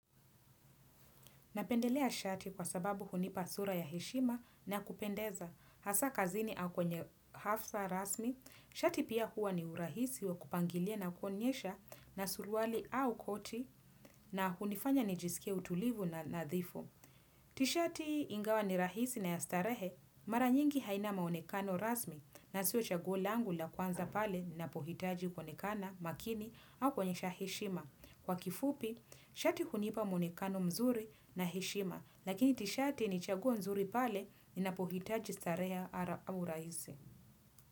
Napendelea shati kwa sababu hunipa sura ya heshima na kupendeza. Hasa kazini au kwenye hafsa rasmi, shati pia hua ni urahisi wa kupangilia na kuonyesha na suruali au koti na hunifanya nijisikie utulivu na nadhifu. Tishati ingawa ni rahisi na ya starehe, mara nyingi haina maonekano rasmi na siyo chaguo langu la kwanza pale ninapohitaji kuonekana makini au kuonyesha heshima. Kwa kifupi, shati hunipa monekano mzuri na heshima, lakini tishati ni chaguo nzuri pale ninapohitaji starehe au rahisi.